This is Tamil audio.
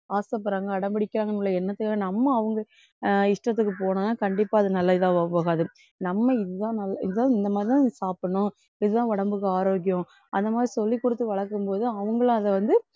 ஆசைப்படுறாங்க அடம் பிடிக்குறாங்க உள்ள எண்ணத்துக்காக நம்ம அவங்க அஹ் இஷ்டத்துக்கு போனா கண்டிப்பா அது நல்ல இதா போகாது நம்ம இதுதான் நல்~ இதுதான் இந்த மாதிரிதான் சாப்பிடணும். இதுதான் உடம்புக்கு ஆரோக்கியம் அந்தமாதிரி சொல்லிக்குடுத்து வளர்க்கும் போது அவங்களும் அதை வந்து